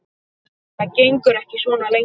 Það gengur ekki svona lengi.